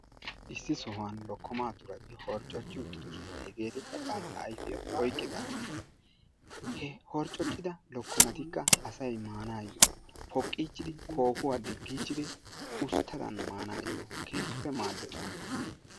Issi sohuwan lokkoma turaay horccoci uttiddosson. Hegettikka bantta ayfiya oyqqidagetta, he horccocida lokkomaattikka asay maanayo poqqidichchidi kohuwaa digichchidi usttaddan maanaayo keehippe maaddes.